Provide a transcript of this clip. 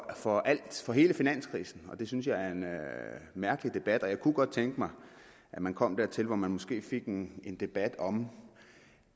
for alt for hele finanskrisen og det synes jeg er en mærkelig debat jeg kunne godt tænke mig at man kom dertil hvor man måske fik en en debat om